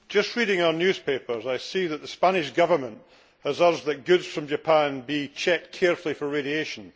Reading our newspapers, I see that the Spanish Government has urged that goods from Japan be checked carefully for radiation